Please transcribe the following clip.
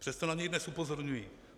Přesto na něj dnes upozorňuji.